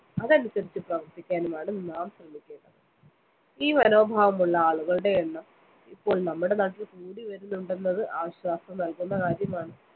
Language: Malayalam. അതനുസരിച്ച് പ്രവര്‍ത്തിക്കാനുമാണ് നാം ശ്രമിക്കേണ്ടത്. ഈ മനോഭാവമുള്ള ആളുകളുടെ എണ്ണം ഇപ്പോള്‍ നമ്മുടെ നാട്ടില്‍ കൂടിവരുന്നുണ്ടെണ്ടന്നത് ആശ്വാസം നല്‍കുന്ന കാര്യമാണ്.